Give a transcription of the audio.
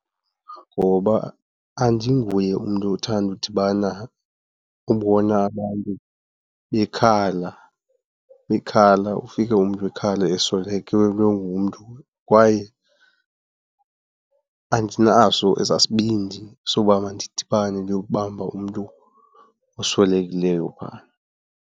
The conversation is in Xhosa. Ngoba andinguye umntu othanda udibana, ubona abantu bekhala, bekhala, ufike umntu ekhala eswelekelwe ngumntu. Kwaye andinaso esaa sibindi soba mandidibane nokubamba umntu oswelekileyo phaa.